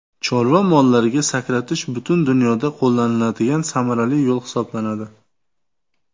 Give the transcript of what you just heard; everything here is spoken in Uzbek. Chorva mollariga sakratish butun dunyoda qo‘llaniladigan samarali yo‘l hisoblanadi.